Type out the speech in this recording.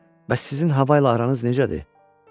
Bəs sizin hava ilə aranız necədir?